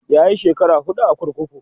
yayi shekara huɗu kurkuku